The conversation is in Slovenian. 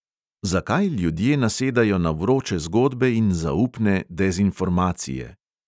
Zakaj ljudje nasedajo na vroče zgodbe in zaupne dezinformacije?